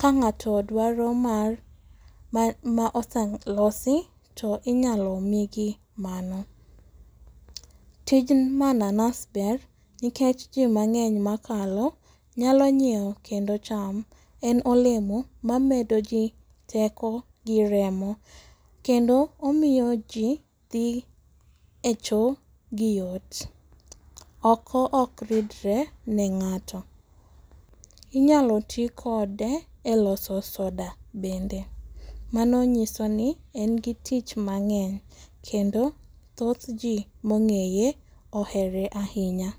ka ng'ato dwaro mar ma oselosi to inyalo migi mano. Tij mananas ber nikech ji mang'eny makalo nyalo nyiewo kendo chamo. En olemo mamedoji teko gi remo. Kendo omiyoji dhi echoo gi yot. Oko ok ridre ne ng'ato .Inyalo ti kode eloso soda bende. Mano nyisoni en gi tich mang'eny kendo thoth ji mong'eye ohere ahinya.